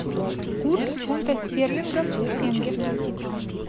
курс фунта стерлингов к тенге